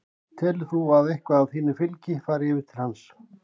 Telur þú að eitthvað af þínu fylgi fari yfir til hans?